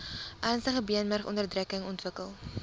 ernstige beenmurgonderdrukking ontwikkel